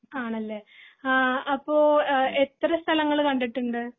ആണല്ലേ ആഹ് അപ്പൊ എഹ് എത്ര സ്ഥലങ്ങൾ കണ്ടിട്ടുണ്ട്